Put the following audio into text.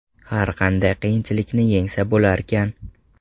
Har qanday qiyinchilikni yengsa bo‘larkan.